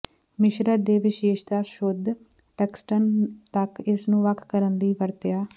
ਮਿਸ਼ਰਿਤ ਦੇ ਵਿਸ਼ੇਸ਼ਤਾ ਸ਼ੁੱਧ ਟੰਗਸਟਨ ਤੱਕ ਇਸ ਨੂੰ ਵੱਖ ਕਰਨ ਲਈ ਵਰਤਿਆ